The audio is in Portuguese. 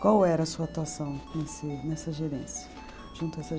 Qual era a sua atuação nesse nessa gerência, junto a essa